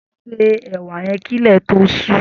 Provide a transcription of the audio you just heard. Sé ẹ̀wà yèn kilẹ tó ṣù